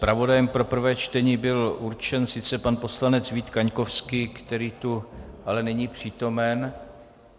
Zpravodajem pro prvé čtení byl určen sice pan poslanec Vít Kaňkovský, který tu ale není přítomen.